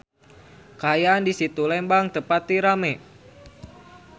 Kaayaan di Situ Lembang teu pati rame